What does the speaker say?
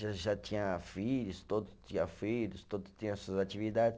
Já já tinha filhos, todos tinha filhos, todos tinha suas atividades.